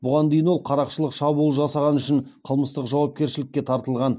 бұған дейін ол қарақшылық шабуыл жасағаны үшін қылмыстық жауапкершілікке тартылған